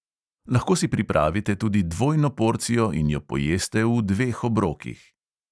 Lahko si pripravite tudi dvojno porcijo in jo pojeste v dveh obrokih.